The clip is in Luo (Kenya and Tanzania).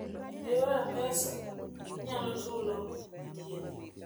e yor mpesa, inyalo chulo thieth